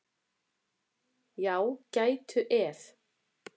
Já, gætu ef.